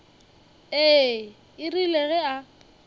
ee e rile ge a